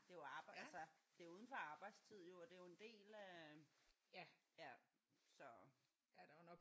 Ja det er jo arbejde altså det er jo uden for arbejdstid jo og det er jo en del af ja så